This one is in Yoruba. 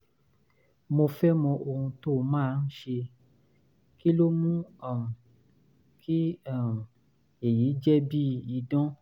mo fẹ́ mọ ohun tó máa ń ṣe? kí ló mú um kí um èyí jẹ́ bíi idán?